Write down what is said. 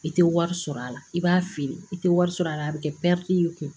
I tɛ wari sɔrɔ a la i b'a feere i tɛ wari sɔrɔ a la a bɛ kɛ y'i kun